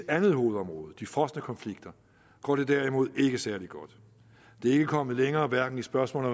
andet hovedområde de frosne konflikter går det derimod ikke særlig godt det er ikke kommet længere hverken i spørgsmålet